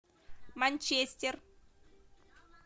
манчестер